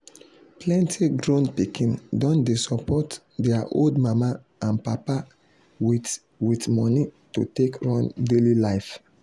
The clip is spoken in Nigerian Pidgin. plenty grown pikin don dey support their old mama and papa with with money to take run daily life.